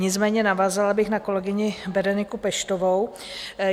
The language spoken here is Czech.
Nicméně navázala bych na kolegyni Bereniku Peštovou.